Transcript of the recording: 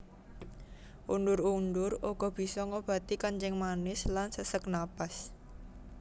Undur undur uga bisa ngobati kencing manis lan sesek napas